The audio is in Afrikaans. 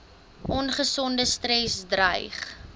ongesonde stres dreig